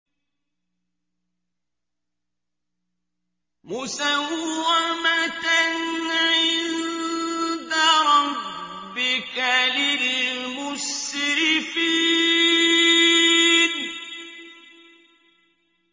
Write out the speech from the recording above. مُّسَوَّمَةً عِندَ رَبِّكَ لِلْمُسْرِفِينَ